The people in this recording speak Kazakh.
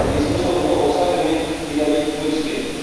бесінші орынды осака мен тель авив бөліскен